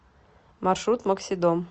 маршрут максидом